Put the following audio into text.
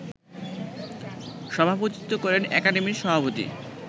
সভাপতিত্ব করেন একাডেমির সভাপতি